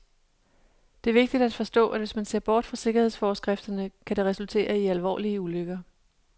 Det er vigtigt at forstå, at hvis man ser bort fra sikkerhedsforskrifterne, kan det resultere i alvorlige ulykker.